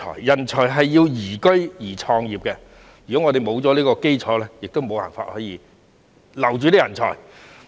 人才需要宜居及宜創業的環境，如果沒有這個基礎，我們便無法留住人才。